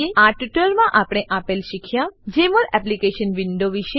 આ ટ્યુટોરીયલમાં આપણે આપેલ શીખ્યા જમોલ એપ્લીકેશન વિન્ડો વિશે